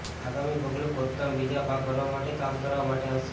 આગામી પગલું ખોદકામ બીજા ભાગ ભરવા માટે કામ કરવા માટે હશે